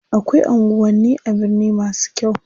Akwai anguwanni a birni masu kyau.